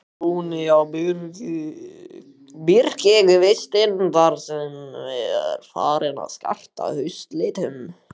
Góni á birkikvistinn sem þar er farinn að skarta haustlitum.